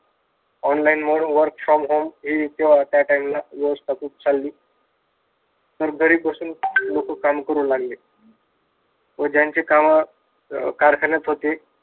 online mode work from home हे हे होते त्या time ला व्यवस्था खूप चालली. सर्व घरी बसून काम करू लागले व ज्यांचे काम कारखान्यात होते.